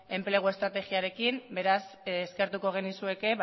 enplegu estrategiarekin beraz eskertuko genizueke